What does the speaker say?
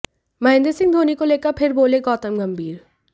महेंद्र सिंह धोनी को लेकर फिर बोले गौतम गंभीर